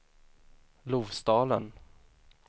Lofsdalen